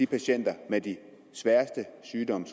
patienter med de sværeste sygdomme